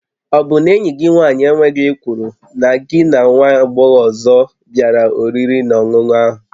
Ọ bụ na enyi gị nwaanyị enweghị ekworo na gị na nwa agbọghọ ọzọ bịara oriri na ọṅụṅụ ahụ?